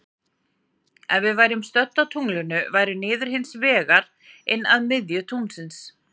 Ef við værum stödd á tunglinu væri niður hins vegar inn að miðju tunglsins.